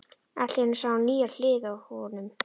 Allt í einu sá hún nýja hlið á honum.